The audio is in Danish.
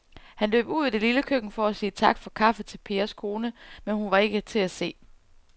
Han løb ud i det lille køkken for at sige tak for kaffe til Pers kone, men hun var ikke til at se.